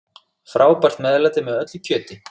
Frábært meðlæti með öllu kjöti.